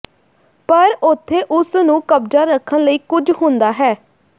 ਪਰ ਉਥੇ ਉਸ ਨੂੰ ਕਬਜ਼ਾ ਰੱਖਣ ਲਈ ਕੁਝ ਹੁੰਦਾ ਹੈ